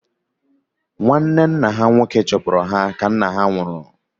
Nwanne nna ha nwoke chụpụrụ ha ka nna ha nwụrụ